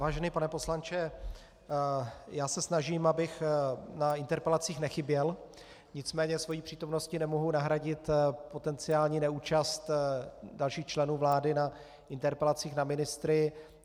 Vážený pane poslanče, já se snažím, abych na interpelacích nechyběl, nicméně svou přítomností nemohu nahradit potenciální neúčast dalších členů vlády na interpelacích na ministry.